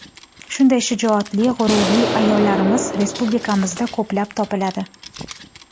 Shunday shijoatli, g‘ururli ayollarimiz respublikamizda ko‘plab topiladi.